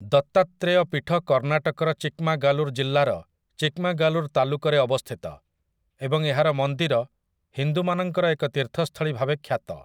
ଦତ୍ତାତ୍ରେୟ ପୀଠ କର୍ଣ୍ଣାଟକର ଚିକ୍‌ମାଗାଲୁର୍ ଜିଲ୍ଲାର ଚିକ୍‌ମାଗାଲୁର୍ ତାଲୁକରେ ଅବସ୍ଥିତ, ଏବଂ ଏହାର ମନ୍ଦିର ହିନ୍ଦୁମାନଙ୍କର ଏକ ତୀର୍ଥସ୍ଥଳୀ ଭାବେ ଖ୍ୟାତ ।